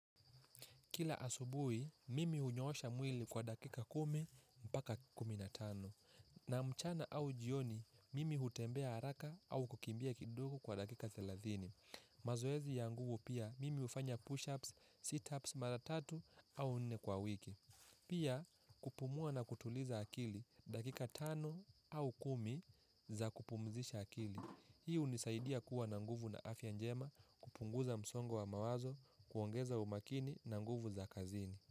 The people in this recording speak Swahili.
Kila asubuhi, mimi hunyoosha mwili kwa dakika kumi, mpaka kumi na tano. Na mchana au jioni, mimi hutembea haraka au kukimbia kidogo kwa dakika thelathini. Mazoezi ya nguvu pia, mimi hufanya push-ups, sit-ups, mara tatu au nne kwa wiki. Pia, kupumua na kutuliza akili dakika tano au kumi za kupumzisha akili. Hii hunisaidia kuwa na nguvu na afya njema kupunguza msongo wa mawazo kuongeza umakini na nguvu za kazini.